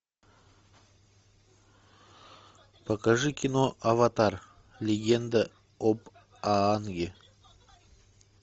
покажи кино аватар легенда об аанге